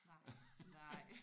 Nej nej